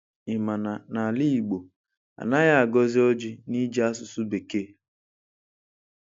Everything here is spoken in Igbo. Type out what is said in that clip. Ị ma na ala igbọ, anaghị agọzi ọjị n’ịjị asụsụ bekee?